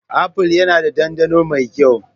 Apple yana da dandano mai kyau.